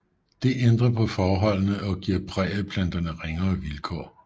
Det ændrer på forholdene og giver prærieplanterne ringere vilkår